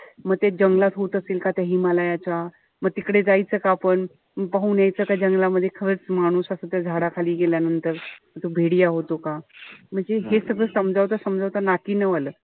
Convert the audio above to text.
मी ते जंगलात होत असेल का त्या हिमालयाच्या. म तिकडे जायचं का आपण. पाहून यायचं का जंगलामध्ये खरंच माणूस असा तो झाडाखाली गेल्यानंतर तो होतो का. म्हणजे हे सगळ समजवता-समजवता नाकी नऊ आले.